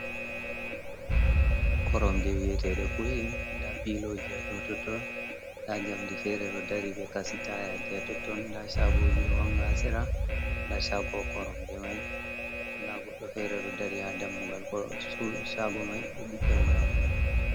Koromje wiyeteɗe kuyi da piloji ya do totton da jamdi ferero dari be kasitaya je ya totton da shagoji do wangasera da chago koromje mai da goddo ferero dari ha dammugal korom shago mai do bidda wayamudum.